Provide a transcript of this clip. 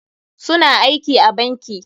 Su na aiki a banki.